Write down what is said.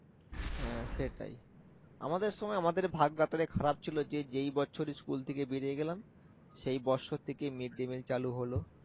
আহ সেটাই আমাদের সময় আমাদের ভাগ ব্যাপারে খারপ ছিল যে যেই বছর school থেকে বেরিয়ে গেলাম সেই বছর থেকেই mid day meal চালু হল